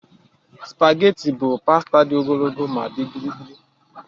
Spageti bụ pasta dị ogologo ma dị gịrịgịrị.